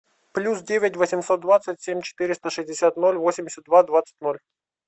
плюс девять восемьсот двадцать семь четыреста шестьдесят ноль восемьдесят два двадцать ноль